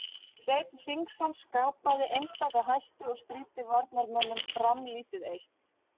Hreinn Hringsson Skapaði einstaka hættu og stríddi varnarmönnum Fram lítið eitt.